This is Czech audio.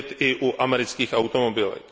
vidět i u amerických automobilek.